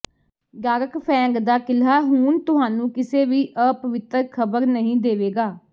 dark Fang ਦਾ ਕਿਲ੍ਹਾ ਹੁਣ ਤੁਹਾਨੂੰ ਕਿਸੇ ਵੀ ਅਪਵਿੱਤਰ ਖ਼ਬਰ ਨਹੀਂ ਦੇਵੇਗਾ